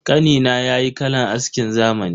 Kanina yayi kalan askin zamani.